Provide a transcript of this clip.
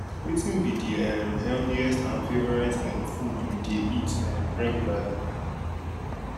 wetin be di um healthiest and favorite um food you dey eat um reguarly